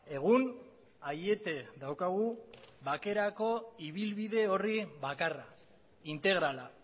egun aiete daukagu bakerako ibilbide horri bakarra integrala